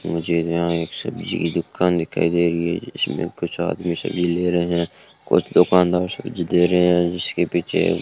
मुझे नया एक सब्जी की दुकान दिखाई दे रही है कुछ आदमी सब्जी ले रहे हैं कुछ दुकानदार सब्जी दे रहे हैं जिसके पीछे --